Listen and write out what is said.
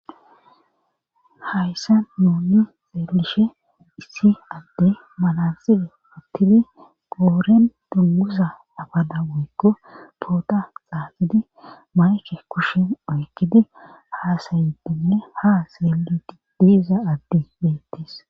Hayssa nunni xeelishe issi adde malanxibe pattidi gooren dunguza abada woykko poota xaaxidi mayke kushen oykkidi haasayitinne ha seelii diiza adti beettis.